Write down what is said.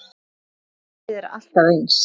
Kerfið er alltaf eins.